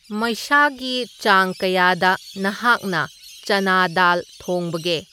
ꯃꯩꯁꯥꯒꯤ ꯆꯥꯡ ꯀꯌꯥꯗ ꯅꯍꯥꯛꯅ ꯆꯥꯅꯥ ꯗꯥꯜ ꯊꯣꯡꯕꯒꯦ